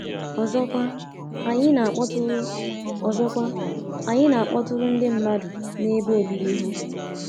Ọzọkwa, anyị na-akpọtụrụ Ọzọkwa, anyị na-akpọtụrụ ndị mmadụ n’ebe obibi ha.